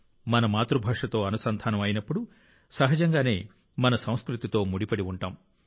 మన మాతృభాషతో అనుసంధానం అయినప్పుడు సహజంగానే మన సంస్కృతితో ముడిపడి ఉంటాం